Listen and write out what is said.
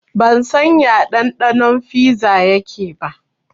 Ban san ya ɗanɗanon fiza yake ba